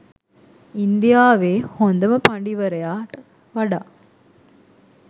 ඉන්දියාවෙ හොදම පඩිවරයාට වඩා